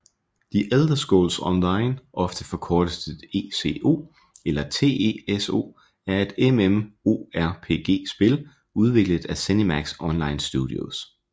The Elder Scrolls Online ofte forkortet til ESO eller TESO er et MMORPG spil udviklet af ZeniMax Online Studios